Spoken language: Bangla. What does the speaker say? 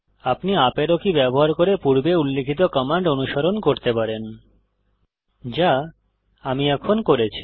আপনি ইউপি আরো কী ব্যবহার করে পূর্বে উল্লিখিত কমান্ড অনুস্মরণ করতে পারেন যা আমি এখন করেছি